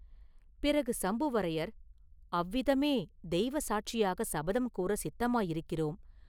பிறகு சம்புவரையர், “அவ்விதமே தெய்வ சாட்சியாகச் சபதம் கூறச் சித்தமாயிருக்கிறோம்.